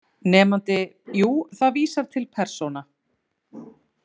Nemandi: Jú, það vísar til persóna